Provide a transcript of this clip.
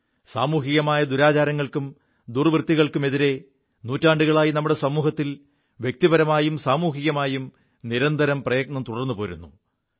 സാമൂഹികമായ ദുരാചാരങ്ങൾക്കും ദുർവൃത്തികൾക്കുമെതിരെ നൂറ്റാണ്ടുകളായി നമ്മുടെ സമൂഹത്തിൽ വ്യക്തിപരമായും സാമൂഹികമായും നിരന്തരം പ്രയത്നം തുടർുപോരുു